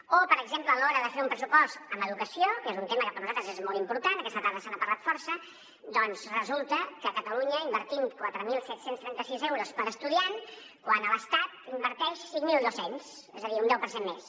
o per exemple a l’hora de fer un pressupost en educació que és un tema que per a nosaltres és molt important aquesta tarda se n’ha parlat força doncs resulta que a catalunya invertim quatre mil set cents i trenta sis euros per estudiant quan l’estat n’inverteix cinc mil dos cents és a dir un deu per cent més